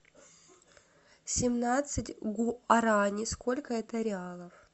семнадцать гуарани сколько это реалов